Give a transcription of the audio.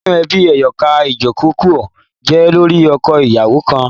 Ninu ẹbi ẹyọkan, idojukọ jẹ lori ọkọ-iyawo kan